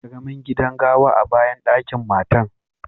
Akwai karemin gidan gawa a'bayan dakin mata.